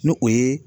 N'o o ye